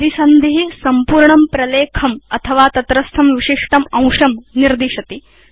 परिसन्धि संपूर्णं प्रलेखम् अथवा तत्रस्थं विशिष्टम् अंशं निर्दिशति